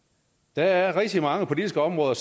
der er rigtig mange politiske områder